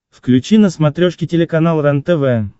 включи на смотрешке телеканал рентв